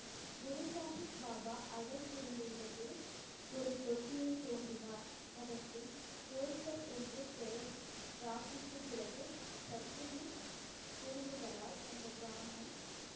குரு சாஹிப் பாபா அடல் இருந்த இடத்தில் ஒரு தொட்டியை தோண்டினார் அதற்கு கோல்சர் என்று பெயர் ராக்கிக்கு பிறகு சத்துவின் குறும்புகளால் அந்த கிராமம்